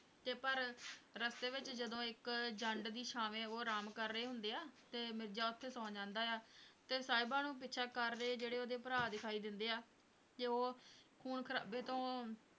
ਤੇ ਪਰ ਰਸਤੇ ਵਿੱਚ ਜਦੋਂ ਇੱਕ ਜੰਡ ਦੀ ਛਾਵੇਂ ਉਹ ਆਰਾਮ ਕਰ ਰਹੇ ਹੁੰਦੇ ਆ ਤੇ ਮਿਰਜ਼ਾ ਉੱਥੇ ਸੌਂ ਜਾਂਦਾ ਹੈ ਤੇ ਸਾਹਿਬਾਂ ਨੂੰ ਪਿੱਛਾ ਕਰ ਰਹੇ ਜਿਹੜੇ ਉਹਦੇ ਭਰਾ ਦਿਖਾਈ ਦਿੰਦੇ ਆ ਤੇ ਉਹ ਖੂਨ ਖਰਾਬੇ ਤੋਂ